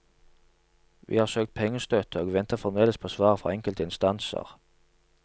Vi har søkt pengestøtte og venter fremdeles på svar fra enkelte instanser.